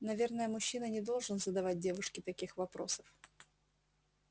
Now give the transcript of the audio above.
наверное мужчина не должен задавать девушке таких вопросов